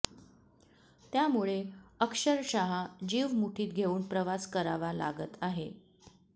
त्यामुळे अक्षरशः जीव मुठीत घेऊन प्रवास करावा लागत आहे